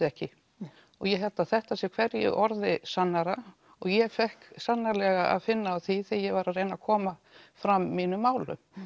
ekki og ég held að þetta sé hverju orði sannara og ég fékk sannarlega að finna á því þegar ég var að reyna að koma fram mínum málum